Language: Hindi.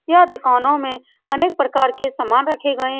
यह दुकानों में अनेक प्रकार के सामान रखे गए --